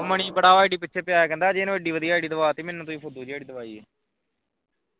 ਮਣੀ ਬੜਾ id ਦੇ ਮਗਰ ਪਿਆ ਸੀ ਕਹਿੰਦਾ ਅਜੇ ਨੂੰ ਤੁਸੀਂ ਕਿੱਡੀ ਵਧੀਆ id ਦਵਾਈ ਮੈਨੂੰ ਫੂਦੂ ਜੇ ਹੀ ਦਵਾਈ ਹੈ